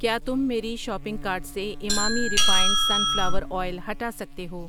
کیا تم میری شاپنگ کارٹ سے ایمامی ریفائنڈ سنفلاور اویل ہٹا سکتے ہو؟